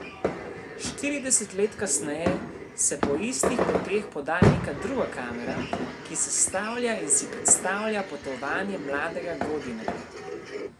Štirideset let kasneje se po istih poteh poda neka druga kamera, ki sestavlja in si predstavlja potovanje mladega Godine.